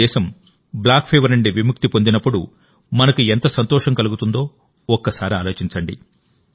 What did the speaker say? మన దేశం కాలాజార్నుండి విముక్తి పొందినపుడు మనకు ఎంత సంతోషం కలుగుతుందో ఒకసారి ఆలోచించండి